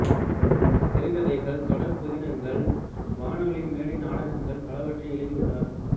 சிறுகதைகள் தொடர் புதினங்கள் வானொலி மேடை நாடகங்கள் பலவற்றை எழுதியுள்ளார்